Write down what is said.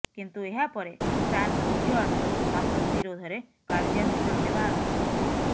କିନ୍ତୁ ଏହା ପରେ ଫ୍ରାନ୍ସ ନିଜ ଆଡୁ ମାସୁଦ ବିରୋଧରେ କାର୍ଯ୍ୟାନୁଷ୍ଠାନ ନେବା ଆରମ୍ଭ କରିଛି